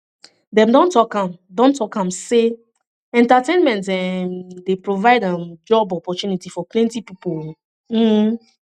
dem don talk am don talk am sey entertainment um dey provide um job opportunities for plenty pipo um